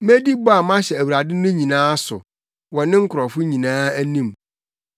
Medi bɔ a mahyɛ Awurade no nyinaa so wɔ ne nkurɔfo nyinaa anim.